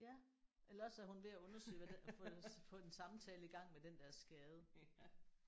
Ja eller også er hun ved at undersøge hvad det at få få en samtale i gang med den skade